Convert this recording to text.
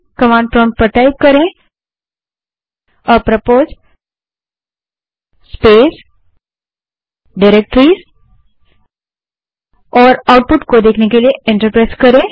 command prompt पर apropos space directories type करें और आउटपुट देखने के लिए एंटर दबायें